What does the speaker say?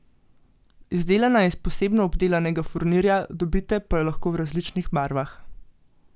Izdelana je iz posebno obdelanega furnirja, dobite pa jo lahko v različnih barvah.